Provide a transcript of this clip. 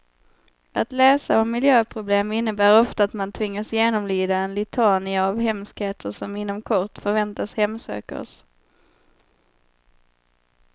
Att läsa om miljöproblem innebär ofta att man tvingas genomlida en litania av hemskheter som inom kort förväntas hemsöka oss.